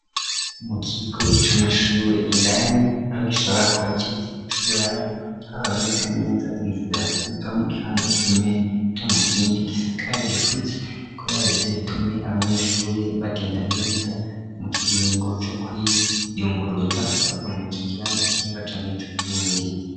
Mu kigo c'amashure indani aho gishobora kuba kera cuburaro haboneka neza inzira iva mu kibanza kija mu kindi gisakaye gifise kuba yabize bitume abanyeshure bagenda neza mu kiringo co kwiyunguruza bava murico kibanza kimwe baja mur'ico kindi.